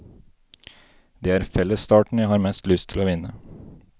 Det er fellesstarten jeg har mest lyst til å vinne.